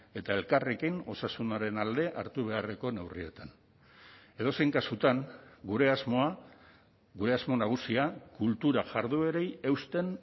eta elkarrekin osasunaren alde hartu beharreko neurrietan edozein kasutan gure asmoa gure asmo nagusia kultura jarduerei eusten